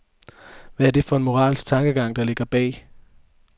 Hvad er det for en moralsk tankegang, der ligger bag?